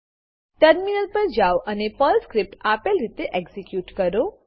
terminal પર જાઓ અને પર્લ સ્ક્રીપ્ટ આપેલ રીતે એક્ઝીક્યુટ કરો